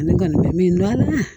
Ne kɔni bɛ min dɔn ala